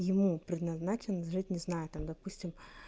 ему предназначен жить не знаю там допустим